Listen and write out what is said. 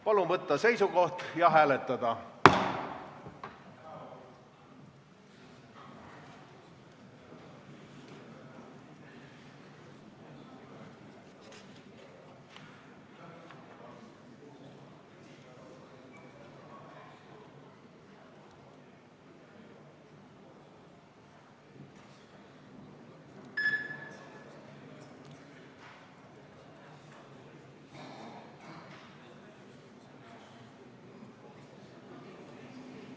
Palun võtta seisukoht ja hääletada!